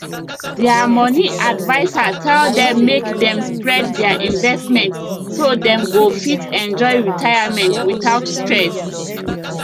their money adviser tell dem make dem spread their investment so dem go fit enjoy retirement without stress